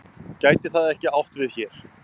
Gæti það ekki átt við hér?